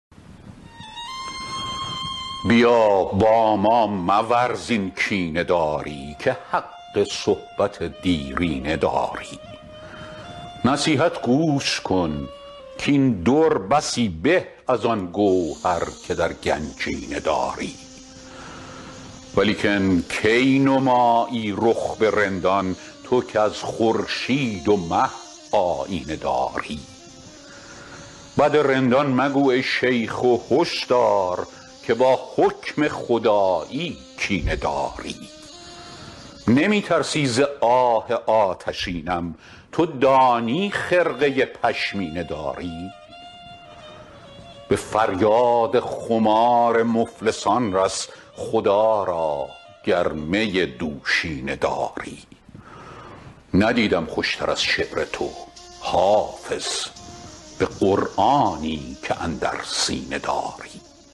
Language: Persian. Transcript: بیا با ما مورز این کینه داری که حق صحبت دیرینه داری نصیحت گوش کن کاین در بسی به از آن گوهر که در گنجینه داری ولیکن کی نمایی رخ به رندان تو کز خورشید و مه آیینه داری بد رندان مگو ای شیخ و هش دار که با حکم خدایی کینه داری نمی ترسی ز آه آتشینم تو دانی خرقه پشمینه داری به فریاد خمار مفلسان رس خدا را گر می دوشینه داری ندیدم خوش تر از شعر تو حافظ به قرآنی که اندر سینه داری